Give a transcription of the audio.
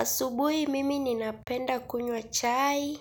Asubuhi mimi ninapenda kunywa chai